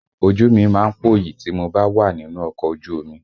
Ojú mi má ń pòyì tí mo bá wà nínú ọkọ̀ ojú omi